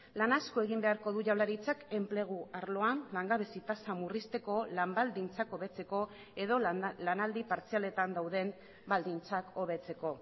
lan asko egin beharko du jaurlaritzak enplegu arloan langabezi tasa murrizteko lan baldintzak hobetzeko edo lanaldi partzialetan dauden baldintzak hobetzeko